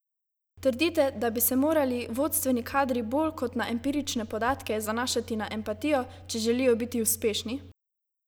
Trdite, da bi se morali vodstveni kadri bolj kot na empirične podatke zanašati na empatijo, če želijo biti uspešni?